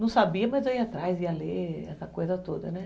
Não sabia, mas eu ia atrás, ia ler, essa coisa toda, né?